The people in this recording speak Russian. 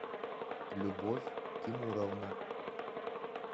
любовь тимуровна